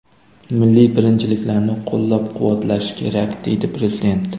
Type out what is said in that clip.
Milliy birinchiliklarni qo‘llab-quvvatlash kerak”, - deydi prezident.